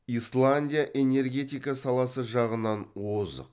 исландия энергетика саласы жағынан озық